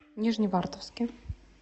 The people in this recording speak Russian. нижневартовске